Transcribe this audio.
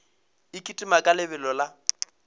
e kitima ka lebelo la